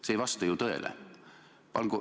See ei vasta ju tõele.